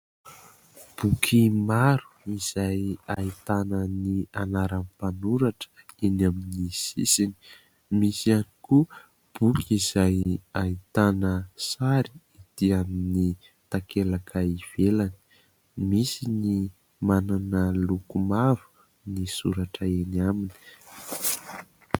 Boky maro izay ahitana ny anaran'ny mpanoratra eny amin'ny sisiny, misy ihany koa boky izay ahitana sary ety amin'ny takelaka ivelany; misy ny manana loko maro ny soratra eny aminy.